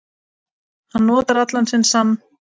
Hann notar allan sinn sann